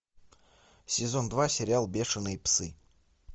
сезон два сериал бешеные псы